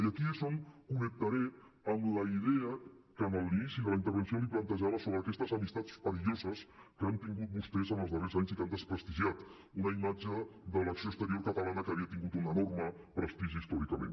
i aquí és on connectaré amb la idea que en l’inici de la intervenció li plantejava sobre aquestes amistats perilloses que han tingut vostès en els darrers anys i que han desprestigiat una imatge de l’acció exterior catalana que havia tingut un enorme prestigi històricament